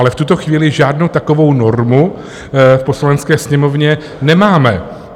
Ale v tuto chvíli žádnou takovou normu v Poslanecké sněmovně nemáme.